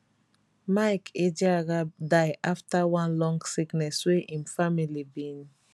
mike ejeagha die afta one long sickness wey im family bin